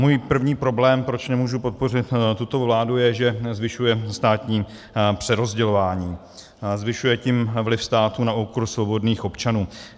Můj první problém, proč nemůžu podpořit tuto vládu, je, že zvyšuje státní přerozdělování, zvyšuje tím vliv státu na úkor svobodných občanů.